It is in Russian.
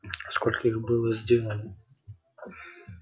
сколько их было сделано